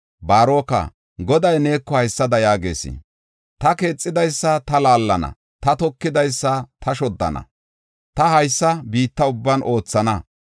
Baaroka, Goday neeko haysada yaagees: “Ta keexidaysa ta laallana; ta tokidaysa ta shoddana. Ta haysa biitta ubban oothana.